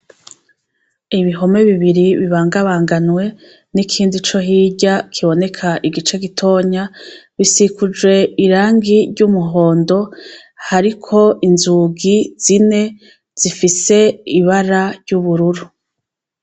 Ibihome bibiri bibangabanganwe n'ikindi co hirya kiboneka igice gitonya bisikuje irangi ry'umuhondo hariko inzugi zine zifise ibara ry'ubururu.